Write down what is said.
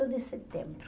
de setembro.